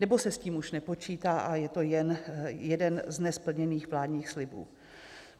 Nebo se s tím už nepočítá a je to jen jeden z nesplněných vládních slibů?